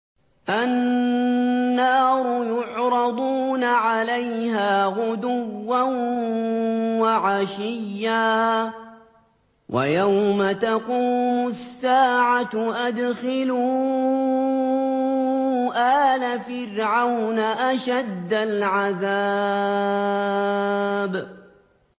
النَّارُ يُعْرَضُونَ عَلَيْهَا غُدُوًّا وَعَشِيًّا ۖ وَيَوْمَ تَقُومُ السَّاعَةُ أَدْخِلُوا آلَ فِرْعَوْنَ أَشَدَّ الْعَذَابِ